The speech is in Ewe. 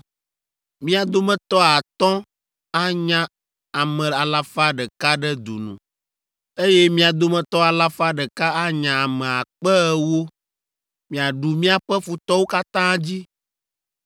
Mia dometɔ atɔ̃ anya ame alafa ɖeka ɖe du nu, eye mia dometɔ alafa ɖeka anya ame akpe ewo! Miaɖu miaƒe futɔwo katã dzi.